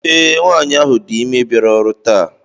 Ee, nwanyị ahụ dị ime bịara ọrụ taa.